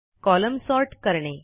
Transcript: column sort करणे